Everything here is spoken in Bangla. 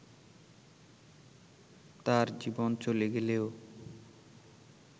তার জীবন চলে গেলেও